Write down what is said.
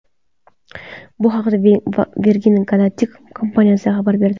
Bu haqda Virgin Galactic kompaniyasi xabar berdi .